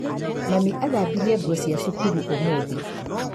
Mami athambirie nguo cia cukuru ũmũthĩ.